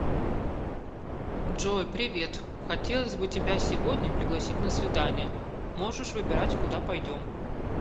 джой привет хотелось бы тебя сегодня пригласить на свидание можешь выбирать куда пойдем